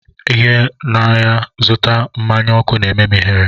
Ịga n'ahịa zụta mmanya ọkụ na-eme m ihere